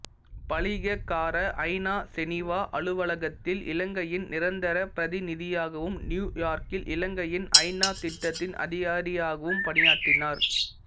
பலிகக்கார ஐநா செனீவா அலுவலகத்தில் இலங்கையின் நிரந்தர பிரதிநிதியாகவும் நியூ யார்க்கில் இலங்கையின் ஐநா திட்டத்தின் அதிகாரியாகவும் பணியாற்றினார்